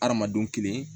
Hadamadenw kelen